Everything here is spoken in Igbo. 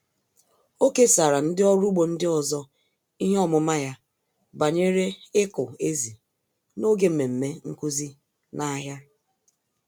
Ọ kesara ndị ọrụ ugbo ndị ọzọ ihe ọmụma ya banyere ịkụ ezì n'oge mmemme nkuzi n'ahịa.